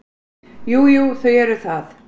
Jú, jú, þau eru það.